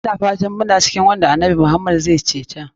Ina fatan muna cikin waƴanda annabi Muhammad zai ceta.